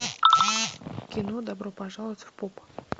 кино добро пожаловать в поп